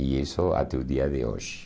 E isso até o dia de hoje.